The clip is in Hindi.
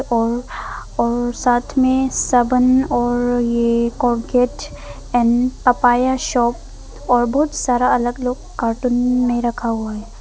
और और साथ में साबुन और ये कोलगेट एंड पपाया शॉप और बहुत सारा अलग अलग कार्टून में रखा हुआ है।